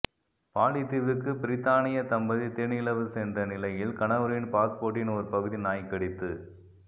poly தீவுக்கு பிரித்தானியா தம்பதி தேனிலவு சென்ற நிலையில் கணவரின் பாஸ்போர்ட்டின் ஒரு பகுதி நாய் கடித்து